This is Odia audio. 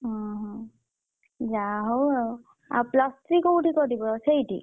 ଉଁ ହୁଁ ଯାହାହଉ ଆଉ ଆଉ plus three କୋଉଠି କରିବ ସେଇଠି?